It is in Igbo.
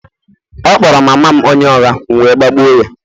ọ kpọrọ mama m onye ụgha, m gbagbụ ya